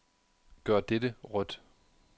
Gør dette rødt.